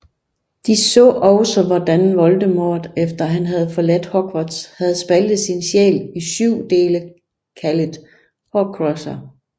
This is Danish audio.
De så også hvordan Voldemort efter han havde forladt Hogwarts havde spaltet sin sjæl i syv dele kaldet Horcruxer